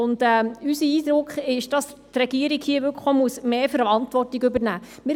Unser Eindruck ist, dass die Regierung mehr Verantwortung übernehmen muss.